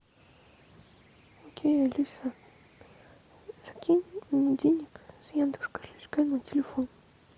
окей алиса закинь мне денег с яндекс кошелька на телефон